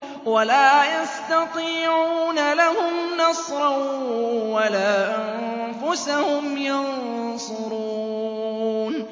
وَلَا يَسْتَطِيعُونَ لَهُمْ نَصْرًا وَلَا أَنفُسَهُمْ يَنصُرُونَ